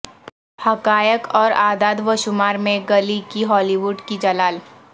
حقائق اور اعداد و شمار میں گلی کی ہالی وڈ کی جلال